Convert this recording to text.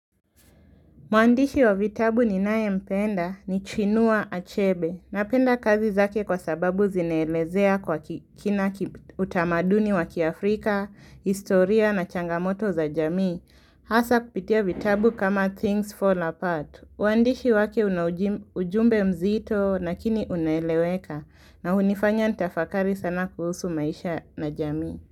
Muandishi wa vitabu ni naye mpenda ni chinua achebe na penda kazi zake kwa sababu zineelezea kwa kina utamaduni wa kiafrika, historia na changamoto za jamii hasa kupitia vitabu kama things fall apart. Muandishi wake ujumbe mzito lakini uneeleweka na unifanya nitafakari sana kuhusu maisha na jamii.